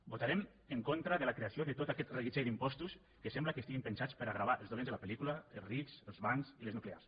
votarem en contra de la creació de tot aquest reguitzell d’impostos que sembla que estiguin pensats per a gravar els dolents de la pel·lícula els rics els bancs i les nuclears